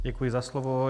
Děkuji za slovo.